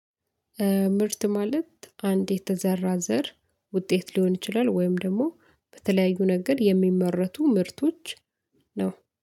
ምርት ማለት አንድ የተዘራ ዘር ውጤት ሊሆን ይችላል ወይም ደግሞ በተለያዩ ነገር የሚመረቱ ምርቶች ነው